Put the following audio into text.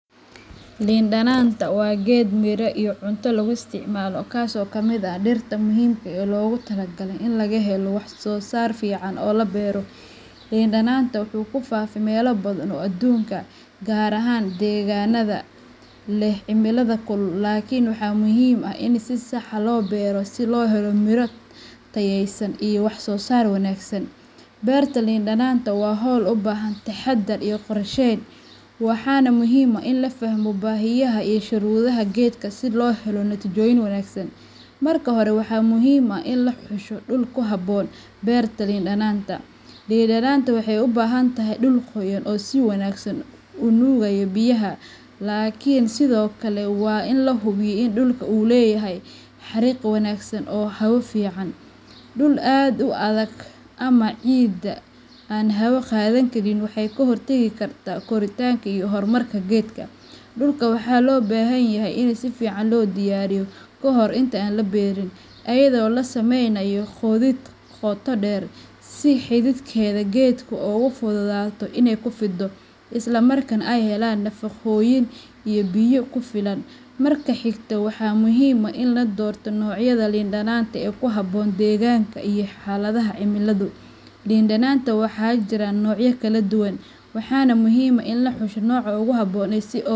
Lin dadanta waa geed miro iyo cunto lagu isticmaalo, kaas oo ka mid ah dhirta muhiimka ah ee loogu talagalay in laga helo wax soo saar fiican oo la beero. Lin dadanta wuxuu ku faafay meelo badan oo adduunka ah, gaar ahaan deegaannada leh cimilada kulul, laakiin waxaa muhiim ah in si sax ah loo beero si loo helo miro tayaysan iyo wax soo saar wanaagsan. Beerta lin dadanta waa hawl u baahan taxaddar iyo qorsheyn, waxaana muhiim ah in la fahmo baahiyaha iyo shuruudaha geedkan si looga helo natiijooyin wanaagsan. Marka hore, waxaa muhiim ah in la xusho dhul ku habboon beerta lin dadanta. Lin dadanta waxay u baahan tahay dhul qoyan oo si wanaagsan u nuugaya biyaha, laakiin sidoo kale waa in la hubiyaa in dhulka uu leeyahay xariiq wanaagsan oo hawo fiican. Dhul aad u adag ama ciidda aan hawo qaadi karin waxay ka hortagi kartaa koritaanka iyo horumarka geedka. Dhulka waxaa loo baahan yahay in si fiican loo diyaariyo ka hor inta aan la beeri, iyadoo la sameynayo qodid qoto dheer si xididdada geedku ugu fududaato inay ku fido, isla markaana ay helaan nafaqooyin iyo biyo ku filan. Marka xigta, waxaa muhiim ah in la doorto noocyada lin dadanta ee ku habboon deegaankaaga iyo xaaladaha cimilada. Lin dadanta waxaa jira noocyo kala duwan, waxaana muhiim ah in la xusho nooca ugu habboon